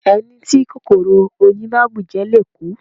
Ẹni tí kòkòrò oyin bá bùjẹ le kú.